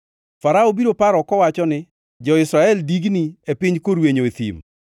Farao biro paro kowacho ni, ‘Jo-Israel digni e piny korwenyo e thim.’